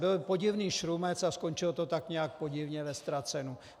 Byl podivný šrumec a skončilo to tak nějak podivně ve ztracenu.